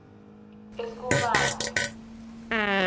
eskumane